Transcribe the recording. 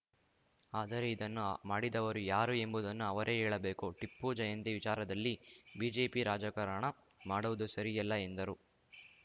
ಆದರೆ ಇದನ್ನು ಮಾಡಿದವರು ಯಾರು ಎಂಬುದನ್ನು ಅವರೇ ಹೇಳಬೇಕು ಟಿಪ್ಪು ಜಯಂತಿ ವಿಚಾರದಲ್ಲಿ ಬಿಜೆಪಿ ರಾಜಕಾರಣ ಮಾಡುವುದು ಸರಿಯಲ್ಲ ಎಂದರು